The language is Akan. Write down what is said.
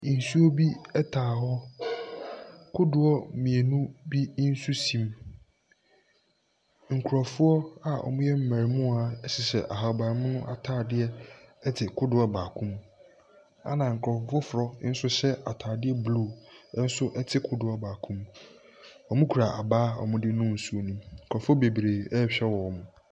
Nsuo bi taa hɔ. Kodoɔ mmienu bi nso si mu. Nkurɔfoɔ a wɔyɛ mmarimaa hyehyɛ ahabammono atadeɛ te kodoɔ baako mu, ɛna nkurɔfo foforɔ nso hyɛ atade blue nso te kodoɔ baako mu. Wɔkura abaa a wɔde nu nsuo no mu nkurɔfoɔ bebree rehwɛ wɔn.